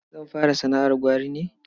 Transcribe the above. Zan fara sana'ar gwari ne.